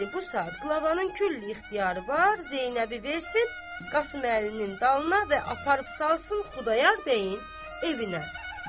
İndi bu saat qlavanın küll ixtiyarı var, Zeynəbi versin Qasım əlinin dalına və aparıb salsın Xudayar bəyin evinə.